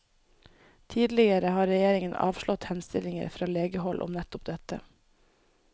Tidligere har regjeringen avslått henstillinger fra legehold om nettopp dette.